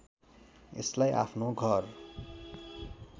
यसलाई आफ्नो घर